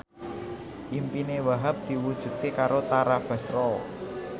impine Wahhab diwujudke karo Tara Basro